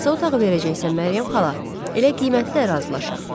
Hansı otağı verəcəksən Məryəm xala, elə qiyməti də razılaşaq.